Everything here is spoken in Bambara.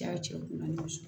Ja cɛ u ni ɲɔgɔn cɛ